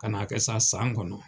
Ka na kɛ sa, san kɔnɔ.